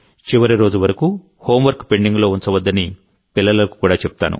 చివరి రోజు వరకు హోంవర్క్ పెండింగ్లో ఉంచవద్దని పిల్లలకు కూడా చెప్తాను